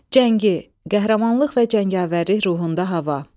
Cəngi, qəhrəmanlıq və cəngavərlik ruhunda hava.